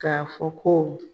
K'a fɔ ko